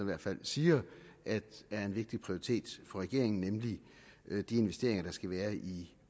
hvert fald siger er en vigtig prioritet for regeringen nemlig de investeringer der skal være i